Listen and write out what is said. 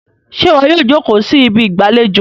ṣe iwọ yíò joko sí Ibi ìgbàlejò?